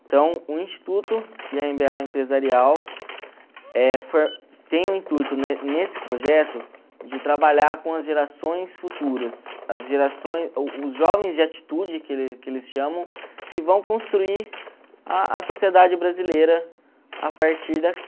Então o Instituto e a eme be a Empresarial eh tem o intuito ne nesse projeto de trabalhar com as gerações futuras, as o os jovens de atitude que ele que eles chamam, que vão construir a sociedade brasileira a partir daqui.